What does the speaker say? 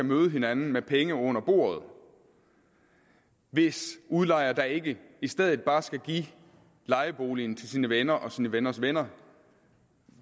møde hinanden med penge under bordet hvis udlejer da ikke i stedet bare skal give lejeboligen til sine venner og sine venners venner